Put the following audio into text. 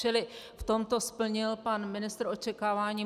Čili v tomto splnil pan ministr očekávání.